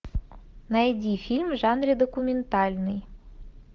найди фильм в жанре документальный